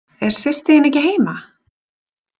Er systir þín ekki heima?